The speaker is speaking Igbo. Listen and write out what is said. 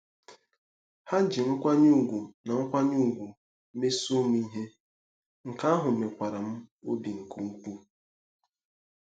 Ha ji nkwanye ùgwù na nkwanye ùgwù mesoo m ihe, nke ahụ mekwara m n'obi nke ukwuu.